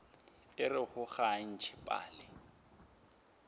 orego ga o ntšhe pale